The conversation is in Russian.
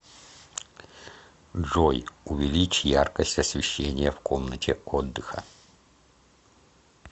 джой увеличь яркость освещения в комнате отдыха